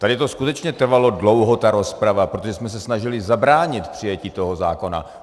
Tady to skutečně trvalo dlouho, ta rozprava, protože jsme se snažili zabránit přijetí toho zákona.